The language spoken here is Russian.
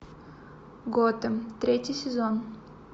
готэм третий сезон